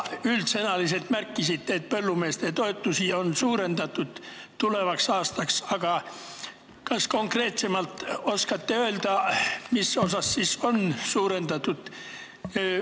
Te üldsõnaliselt märkisite, et põllumeeste toetusi tulevaks aastaks on suurendatud, aga kas te konkreetsemalt oskate öelda, mis osas on suurendatud?